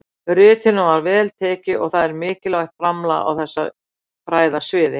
Ritinu var vel tekið og það er mikilvægt framlag á þessu fræðasviði.